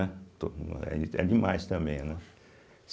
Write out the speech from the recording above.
É demais também, né.